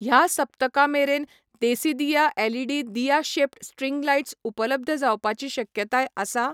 ह्या सप्तका मेरेन देसीदिया एलईडी दिया शेप्ड स्ट्रिंग लायट्स उपलब्ध जावपाची शक्यताय आसा ?